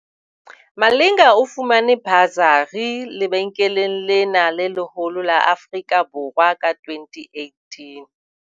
Malinga o fumane basari lebenkeleng lena le leholo la Afrika Borwa ka 2018.